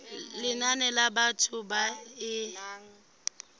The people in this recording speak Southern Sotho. lenane la batho ba e